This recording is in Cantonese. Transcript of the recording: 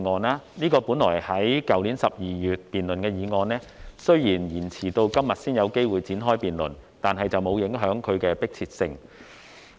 這項本應在去年12月辯論的議案，雖然延遲到今天才有機會展開辯論，但並沒有影響其迫切性。